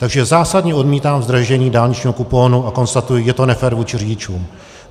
Takže zásadně odmítám zdražení dálničního kuponu a konstatuji, že je to nefér vůči řidičům.